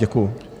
Děkuju.